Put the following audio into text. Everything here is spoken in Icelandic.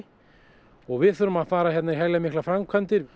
og við þurfum að fara í heljarmiklar framkvæmdir